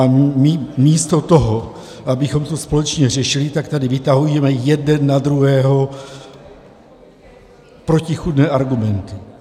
A místo toho, abychom to společně řešili, tak tady vytahujeme jeden na druhého protichůdné argumenty.